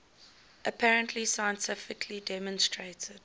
apparently scientifically demonstrated